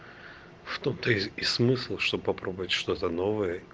что ты и смысл что попробовать что то новое